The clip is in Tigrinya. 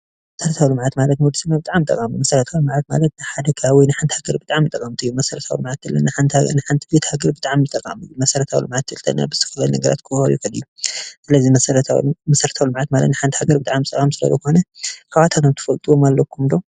መሰረታዊ ልምዐዓት ማለት ብጣዕሚ ጠቃሚመሰረታዊ ለውጢ መሰረታዊ ለውጢ ማለት ንሓንቲ ሃገር መሰረታዊ ለውጢ ዝከውን ዘምፅኡ ስራሕቲ ምስራሕ እዩ